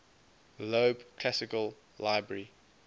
loeb classical library